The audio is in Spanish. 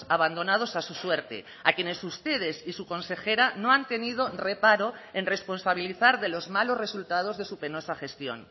abandonados a su suerte a quienes ustedes y su consejera no han tenido reparo en responsabilizar de los malos resultados de su penosa gestión